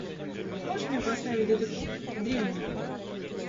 можешь мне поставить детектив древние